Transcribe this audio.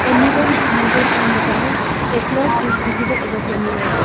A mirror mounted on the wall a clock is visible above the mirror.